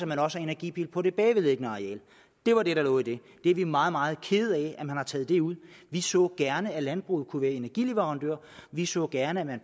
man også har energipil på det bagvedliggende areal det var det der lå i det vi er meget meget kede af at man har taget det ud vi så gerne at landbruget kunne være energileverandører vi så gerne at